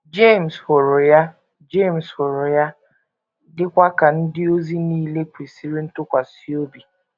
Jemes hụrụ ya Jemes hụrụ ya, dịkwa ka ndị ozi nile kwesịrị ntụkwasị obi.